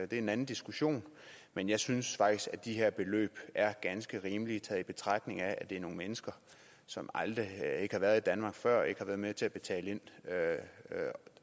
det er en anden diskussion men jeg synes faktisk at de her beløb er ganske rimelige i betragtning af at det er nogle mennesker som ikke har været i danmark før og ikke har været med til at betale ind